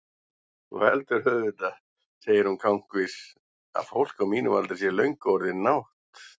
Þú heldur auðvitað, segir hún kankvís, að fólk á mínum aldri sé löngu orðið nátt-